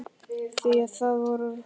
Því það var vor.